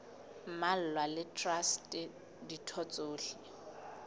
mmalwa le traste ditho tsohle